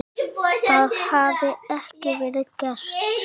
Það hafi ekki verið gert.